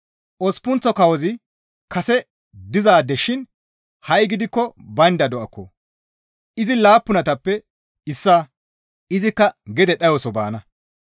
Osppunththo kawozi kase dizaade shin ha7i gidikko baynda do7akko; izi laappunatappe issaa; izikka gede dhayoso baana.